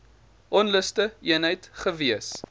onluste eenheid gewees